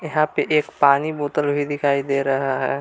यहां पे एक पानी बोतल भी दिखाई दे रहा है।